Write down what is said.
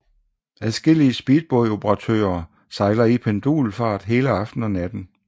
Adskillige speedbåd operatører sejler i pendulfart hele aftenen og natten